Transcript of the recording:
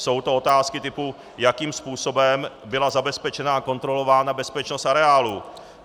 Jsou to otázky typu, jakým způsobem byla zabezpečena a kontrolována bezpečnost areálu.